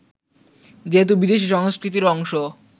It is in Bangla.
যেহেতু বিদেশি সংস্কৃতির অংশ